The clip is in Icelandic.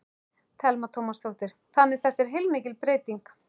Telma Tómasdóttir: Þannig þetta er heilmikil breyting?